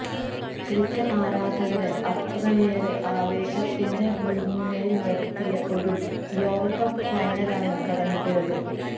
cricket ആരാധകരെ അത്രയേറെ ആവേശത്തിൻെറ മുൾമുനയിൽ നിർത്തിയ ഒരു ലോകകപ്പ് ഫൈനലാണ് കടന്ന് പോയത്